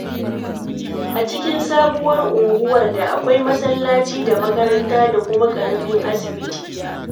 A cikin sabuwar unguwar da akwai masallaci da makaranta da kuma ƙaramin asibiti.